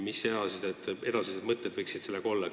Mis võiksid edasised mõtted olla?